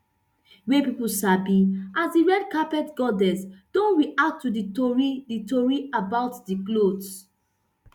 wey pipo sabi as di red carpet goddess don react to di tori di tori about di cloth